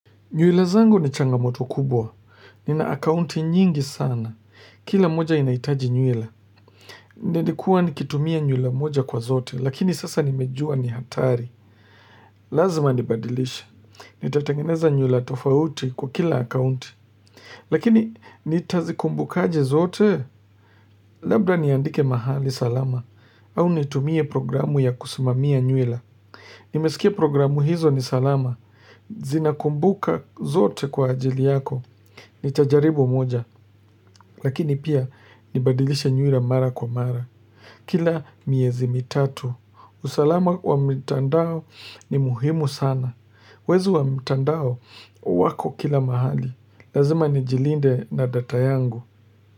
Nywilo zangu ni changamoto kubwa. Ni na akaunti nyingi sana. Kila moja inaitaji nywila Nlikuwa nikitumia nywila moja kwa zote, lakini sasa nimejua ni hatari. Lazima nibadilishe. Nitatangeneza nywila tofauti kwa kila akaunti. Lakini nitazikumbuka aje zote, labda niandike mahali salama, au nitumie programu ya kusimamia nywila. Nimesikia programu hizo ni salama. Zinakumbuka zote kwa ajili yako. Nita jaribu moja, lakini pia nibadilishe nywila mara kwa mara. Kila miezi mitatu, usalama wa mitandao ni muhimu sana. Wezi wa mtandao wako kila mahali. Lazima nijilinde na data yangu.